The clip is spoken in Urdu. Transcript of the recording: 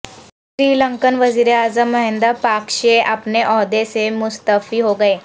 سری لنکن وزیر اعظم مہندا پاکشے اپنے عہدے سے مستعفی ہو گئے